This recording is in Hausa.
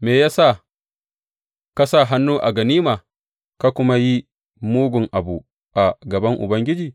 Me ya sa ka sa hannu a ganima, ka kuma yi mugun abu a gaban Ubangiji?